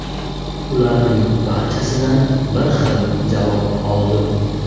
Ularning barchasidan bir xil javob oldim.